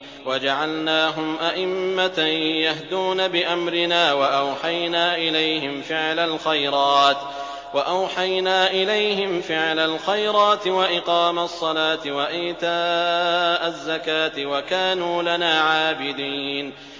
وَجَعَلْنَاهُمْ أَئِمَّةً يَهْدُونَ بِأَمْرِنَا وَأَوْحَيْنَا إِلَيْهِمْ فِعْلَ الْخَيْرَاتِ وَإِقَامَ الصَّلَاةِ وَإِيتَاءَ الزَّكَاةِ ۖ وَكَانُوا لَنَا عَابِدِينَ